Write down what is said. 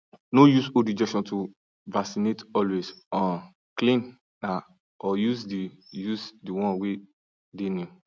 no use old injection to vaccinate always um clean na or use the use the one way dey new